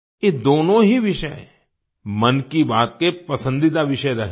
ये दोनों ही विषय मन की बात के पसंदीदा विषय रहे हैं